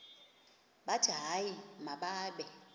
bathi hayi mababe